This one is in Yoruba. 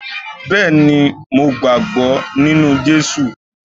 Bẹẹni mo gbàgbọ́ nínú Jésù